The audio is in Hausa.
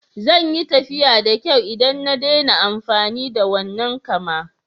Zan yi tafiya da kyau idan na daina amfani da wannan kama.